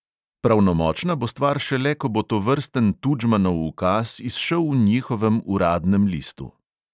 Pravnomočna bo stvar šele, ko bo tovrsten tučmanov ukaz izšel v njihovem uradnem listu.